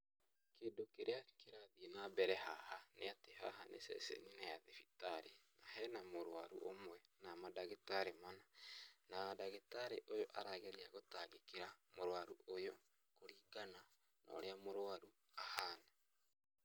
Kĩndũ kĩrĩa kĩrathiĩ na mbere haha nĩatĩ haha nĩ ceceninĩ ya thibitarĩ na hena mũrũaru ũmwe na mandagĩtari mana, na ndagĩtarĩ ũyũ arageria gũtangĩkĩra mũrũaru ũyu, kũringana na ũrĩa mũrũaru ahana.